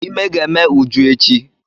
Ímé ga-eme Uju echi.